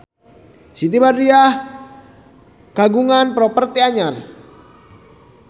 Siti Badriah kagungan properti anyar